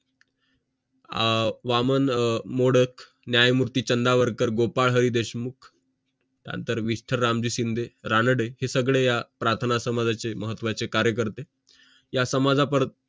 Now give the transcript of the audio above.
अह वामन मोडक न्यायमूर्ती चंदावरकर गोपाळ हरी देशमुख नंतर विठ्ठल रामजी शिंदे रानडे हे सगळे या प्रार्थना समाजाचे महत्त्वाचे कार्य करते या समाजा परत